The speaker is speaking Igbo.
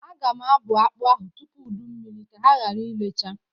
Aga m abụ akpa ahụ tupu udu mmiri ka ha gara irecha.